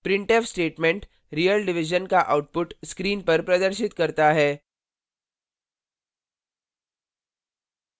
printf statement real division का output screen पर प्रदर्शित करता है